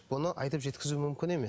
бұны айтып жеткізу мүмкін емес